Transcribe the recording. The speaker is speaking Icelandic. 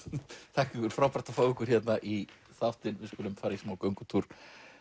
þakka ykkur frábært að fá ykkur í þáttinn við skulum fara í smá göngutúr